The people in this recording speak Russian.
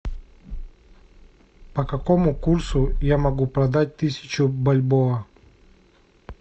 по какому курсу я могу продать тысячу бальбоа